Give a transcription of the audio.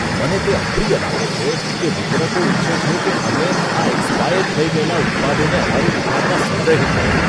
મને તે અપ્રિય લાગે છે કે વિતરકો ઈચ્છે છે કે અમે આ એક્સપાયર થઈ ગયેલા ઉત્પાદને અમારી દુકાનમાં સંગ્રહિત કરીએ.